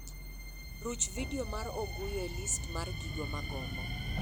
Ruch vidio mar oguyo e listi mar gigo magombo